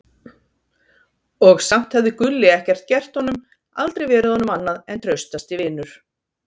Og samt hafði Gulli ekkert gert honum, aldrei verið honum annað en traustasti vinur.